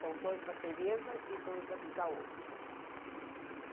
São dois da Tereza e dois da outra.